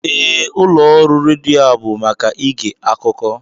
Ee, ụlọ ọrụ redio a bụ maka ịge akụkọ